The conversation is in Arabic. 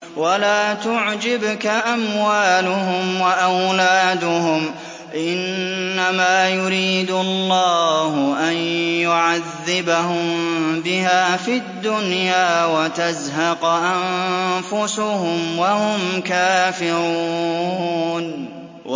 وَلَا تُعْجِبْكَ أَمْوَالُهُمْ وَأَوْلَادُهُمْ ۚ إِنَّمَا يُرِيدُ اللَّهُ أَن يُعَذِّبَهُم بِهَا فِي الدُّنْيَا وَتَزْهَقَ أَنفُسُهُمْ وَهُمْ كَافِرُونَ